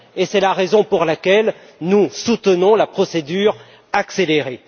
C'est la raison pour laquelle nous soutenons la procédure accélérée.